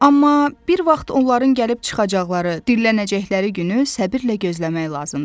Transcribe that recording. Amma bir vaxt onların gəlib çıxacaqları, diriləcəkləri günü səbirlə gözləmək lazımdır.